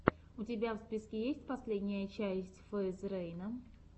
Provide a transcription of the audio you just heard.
у тебя в списке есть последняя часть фейз рейна